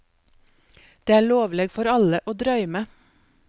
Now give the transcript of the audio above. Det er lovleg for alle å drøyme.